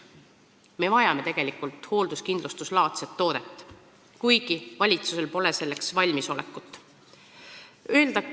Me vajame tegelikult hoolduskindlustuslaadset toodet, kuigi valitsusel pole selleks valmisolekut.